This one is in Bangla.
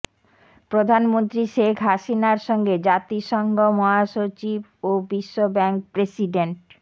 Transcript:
প্রধানমন্ত্রী শেখ হাসিনার সঙ্গে জাতিসংঘ মহাসচিব ও বিশ্বব্যাংক প্রেসিডেন্ট